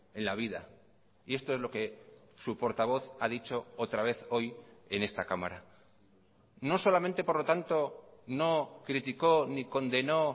en la vida y esto es lo que su portavoz ha dicho otra vez hoy en esta cámara no solamente por lo tanto no criticó ni condenó